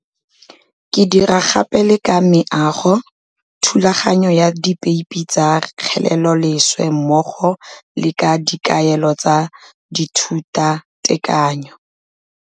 Ke dira gape le ka meago, thulaganyo ya dipeipe tsa kgeleloleswe mmogo le ka dikaelo tsa dithutatekanyo.